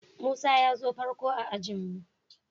Musa ya zo farko a'ajin mu.